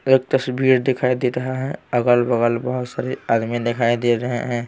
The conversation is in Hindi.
एक तस्वीर दिखाई दे रहा है अगल-बगल बहुत सारे आदमी दिखाई दे रहे हैं।